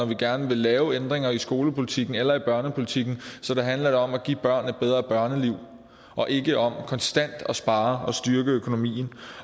vi gerne vil lave ændringer i skolepolitikken eller i børnepolitikken så handler det om at give børn et bedre børneliv og ikke om konstant at spare og styrke økonomien